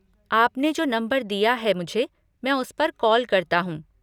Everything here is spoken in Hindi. आपने जो नम्बर दिया है मुझे, मैं उसपर कॉल करता हूँ।